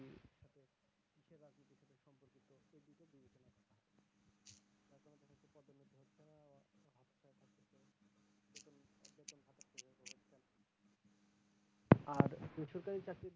আর